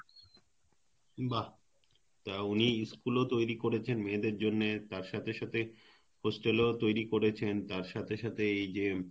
বাহ তা উনি school ও তৈরি করেছেন মেয়েদের জন্য তার সাথে সাথে Hostel ও তৈরি করেছেন তার সাথে সাথে এইযে